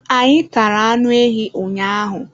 anyị tara anụ ehi ụnyaahụ